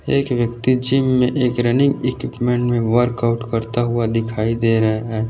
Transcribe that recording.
एक व्यक्ति जीम में एक रननिंग इक्विपमेंट में वर्क आउट करता हुआ दिखाई दे रहा है।